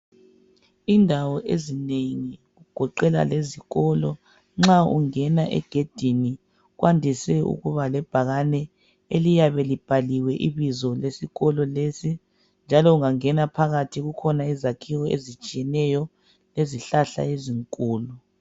Indawo ezinengi kugoqela lezikolo lezikolo, nxa ungena egedini, kwandise ukuba lebhakane eliyabe libhaliwe ibizo lesikolo lesi. Njalo ungangena phakathi kukhona izakhiwo ezitshiyeneyo, lezihlahla ezinkulu.